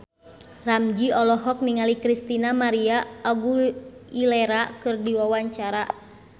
Ramzy olohok ningali Christina María Aguilera keur diwawancara